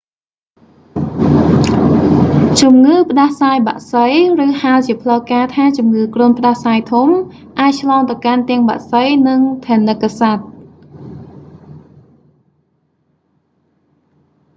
ជំងឺផ្ដាសាយបក្សី ឬហៅជាផ្លូវការណ៍ថាជំងឺគ្រុនផ្ដាសាយធំ អាចឆ្លងទៅកាន់ទាំងបក្សី និងថនិកសត្វ